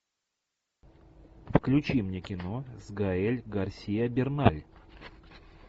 включи мне кино с гаэль гарсиа берналь